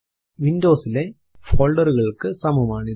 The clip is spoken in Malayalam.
വിൻഡോസ് ലെ folder കൾക്ക് സമം ആണിത്